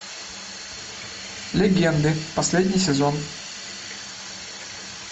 легенды последний сезон